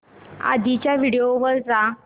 आधीच्या व्हिडिओ वर जा